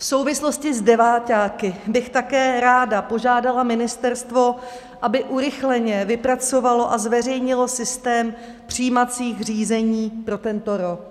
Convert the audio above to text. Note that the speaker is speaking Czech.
V souvislosti s deváťáky bych také ráda požádala ministerstvo, aby urychleně vypracovalo a zveřejnilo systém přijímacích řízení pro tento rok.